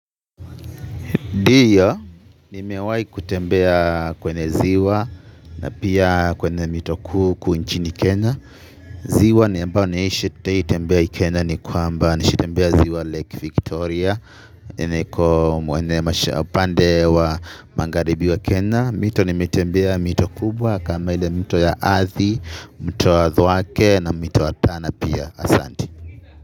Ndio, nimewahi kutembea kwenye ziwa na pia kwenye mito kuu huku nchini kena. Ziwa ambao nimewahi tembea hii kenya ni kwamba. Nishatembea ziwa Lake Victoria. Niko upande wa magharibi wa kenya. Mito nimetembea mito kubwa kama ile mto ya athi, mto wa thwake na mto wa tana pia asante.